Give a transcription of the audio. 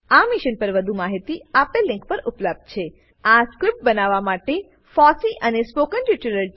આ મિશન પર વધુ માહિતી spoken hyphen tutorial dot org slash NMEICT hyphen intro આ લીંક પર ઉપલબ્ધ છે